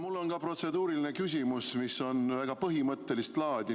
Mul on protseduuriline küsimus, mis on väga põhimõttelist laadi.